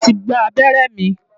Mo ti gba abẹ́rẹ́ mi.